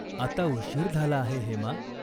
"आता उशीर झाला आहे हेमा.